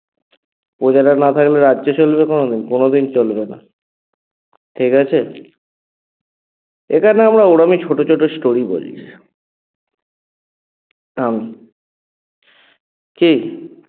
প্রজারা না থাকলে রাজ্য চলবে কোনোদিন? কোনোদিন চলবে না ঠিকাছে? এখানে আমরা ওরমই ছোট ছোট story বলি কী?